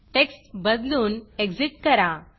text बदलून Exitएग्ज़िट करा